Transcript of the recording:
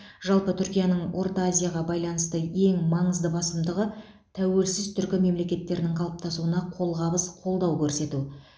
жалпы түркияның орта азияға байланысты ең маңызды басымдығы тәуелсіз түркі мемлекеттерінің қалыптасуына қолғабыс қолдау көрсету